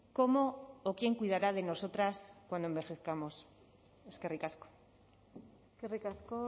cómo o quién cuidará de nosotras cuando envejezcamos eskerrik asko eskerrik asko